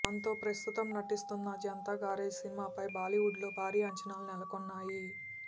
దాంతో ప్రస్తుతం ఎన్టీఆర్ నటిస్తున్న జనతా గ్యారేజ్ సినిమాపై బాలీవుడ్లో భారీ అంచనాలు నెలకొన్నాయి